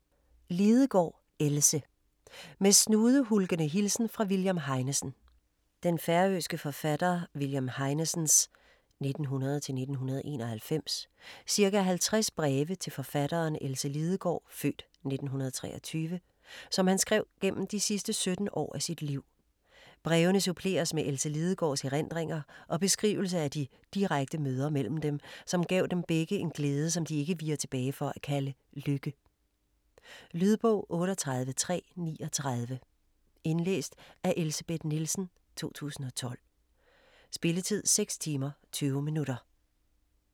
Lidegaard, Else: Med snudehulkende hilsen fra William Heinesen Den færøske forfatter William Heinesens (1900-1991) ca. halvtreds breve til forfatteren Else Lidegaard (f. 1923), som han skrev gennem de sidste 17 år af sit liv. Brevene suppleres med Else Lidegaards erindringer og beskrivelse af de direkte møder mellem dem, som gav dem begge en glæde, som de ikke viger tilbage for at kalde lykke. Lydbog 38339 Indlæst af Elsebeth Nielsen, 2012. Spilletid: 6 timer, 20 minutter.